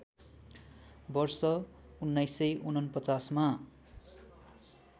वर्ष १९४९ मा